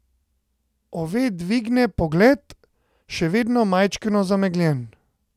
Ove dvigne pogled, še vedno majčkeno zamegljen.